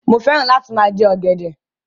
Mo fẹ́ràn lá ti máa jẹ ọ̀gẹ̀dẹ̀.